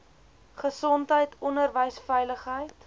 gesondheid onderwys veiligheid